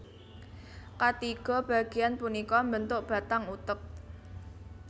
Katiga bagéan punika mbentuk batang utek